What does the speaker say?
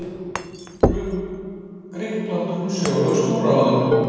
Grikkland umsvifalaust úr ráðinu.